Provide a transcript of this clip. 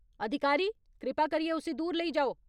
अधिकारी, कृपा करियै उस्सी दूर लेई जाओ।